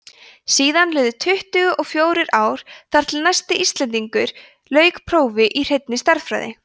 síðan liðu tuttugu og fjórir ár þar til næsti íslendingur lauk prófi í hreinni stærðfræði